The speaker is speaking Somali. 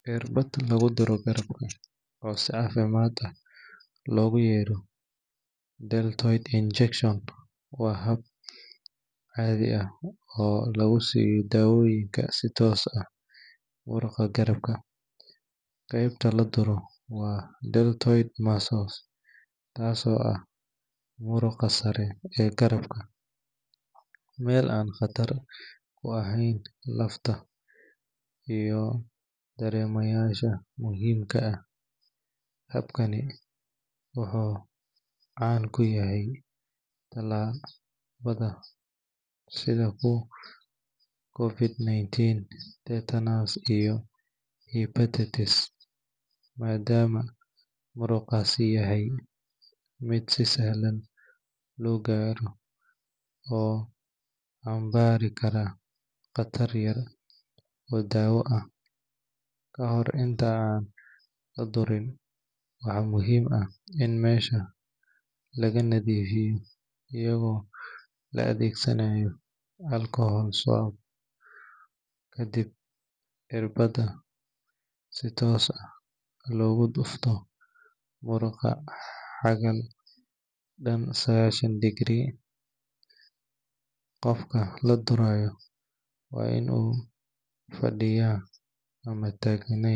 Cirbada laguduro garbaha oo si cafimad lah logureyo deltoid injection wa xab cadi ah oo lagusiyo dawoyinka si toos ah, muruga garabka, gebta laduro wa deltoid muscles taas oo ah muruqa saree ee garabka, mel an qatar u aheyna lafta iyo daremayasha muxiimka ah , habkani wuxu caan kuyahay talal sidha covic 19 tetanus iyo betates madama muruqasi yahay mid si si sahlan logaroo, oo an bari karaa qatar yar oo dawo ah, kahor inta an ladurin waxa muxiim ah in mesha laganadifiyo iyago laadegsanayo kadib cirbada lagudufto si toos ah hagar tan saqashan degree gofka ladurayo wa in uu fadiya ama tagneyn.